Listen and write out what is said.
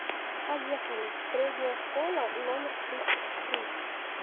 поехали средняя школа номер тридцать три